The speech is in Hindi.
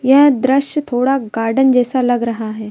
यह दृश्य थोड़ा गार्डन जैसा लग रहा है।